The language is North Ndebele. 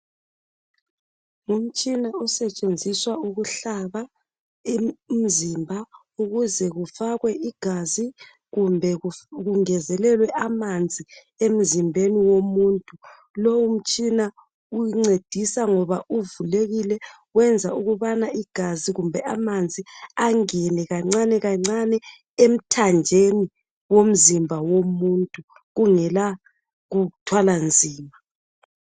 Ngumtshina osetshenziswa ukuhlaba imzimba ukuze kufakwe igazi kumbe kungezelelwe amanzi emzimbeni womuntu , lowu mtshina uncedisa ngoba uvulekile wenza ukubana igazi kumbe amanzi angene kancane kancane emthanjeni womzimba womuntu kungela kuthwala nzima